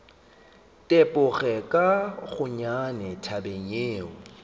tepoge ka gonnyane tabeng yeo